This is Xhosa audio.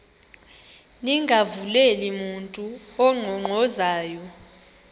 ningavuleli mntu unkqonkqozayo